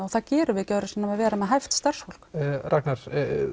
og það gerum við ekki öðruvísi en að vera með hæft starfsfólk Ragnar